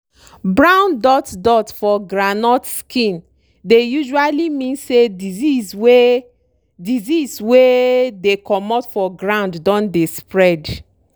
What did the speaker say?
brown dot dot for groundnut skin dey usually mean say disease wey disease wey dey comot for ground don dey spread.